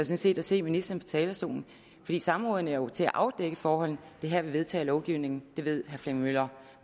set at se ministeren på talerstolen fordi samrådene er jo til for at afdække forholdene mens er her vi vedtager lovgivningen det ved herre flemming møller